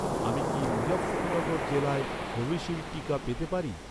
আমি কি মুজাফফরনগর জেলায় কোভিশিল্ড টিকা পেতে পারি?